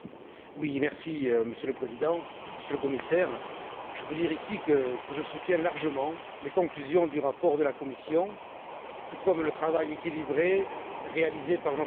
Monsieur le Président, Monsieur le Commissaire, je veux dire ici que je soutiens largement les conclusions du rapport de la Commission, tout comme le travail équilibré réalisé par notre rapporteur, M.